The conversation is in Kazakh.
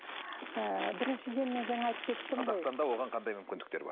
ы біріншіден мен жаңа айтып кеттім қазақстанда оған қандай мүмкіндіктер бар